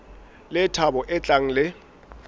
le thabo e tlang le